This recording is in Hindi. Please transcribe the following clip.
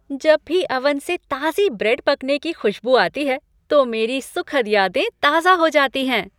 जब भी ओवन से ताजी ब्रेड पकने की खुश्बू आती है तो मेरी सुखद यादें ताजा हो जाती हैं।